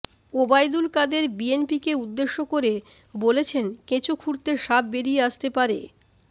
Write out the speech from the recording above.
ওবায়দুল কাদের বিএনপিকে উদ্দেশ্য করে বলেছেন কেঁচো খুঁড়তে সাপ বেরিয়ে আসতে পারে